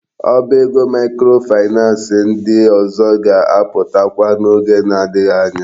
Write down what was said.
Ọba ego microfinance ndị ọzọ ga-aputakwa na oge na adighi anya.